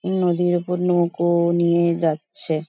নদীর ওপর নৌকো নিয়ে যাচ্ছে ।